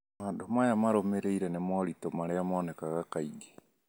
Maũndũ maya marũmĩrĩire nĩ moritũ marĩa monekaga kaingĩ.